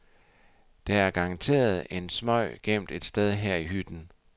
Der er garanteret en smøg gemt et sted her i hytten.